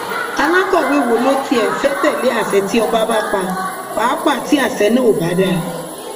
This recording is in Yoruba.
alákọwé wo ló tiẹ fẹẹ tẹlé àṣẹ tí ọba kan bá pa pàápàá tí àṣẹ náà ò bá dáa